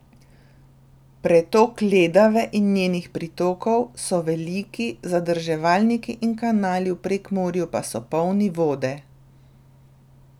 Pretok Ledave in njenih pritokov so veliki, zadrževalniki in kanali v Prekmurju pa so polni vode.